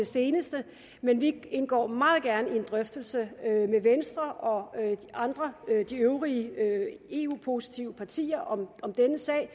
seneste men vi indgår meget gerne i en drøftelse med venstre og de øvrige eu positive partier om denne sag